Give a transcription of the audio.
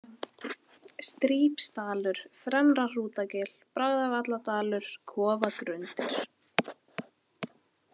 Strípsdalur, Fremra-Hrútagil, Bragðavalladalur, Kofagrundir